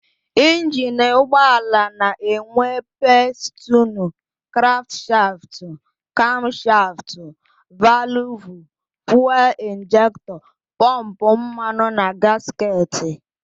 Injini ụgbọala na-enwe: pistinu, krankshaftụ, kamshaftụ, valụvụ, fuelu injektọ, pọmpụ mmanụ na gasketị.